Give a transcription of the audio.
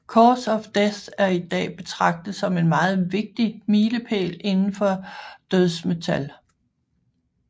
Cause of Death er i dag betragtet som en meget vigtig milepæl indenfor dødsmetal